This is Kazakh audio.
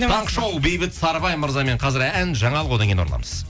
таңғы шоу бейбіт сарыбай мырзамен қазір ән жаңалық одан кейін ораламыз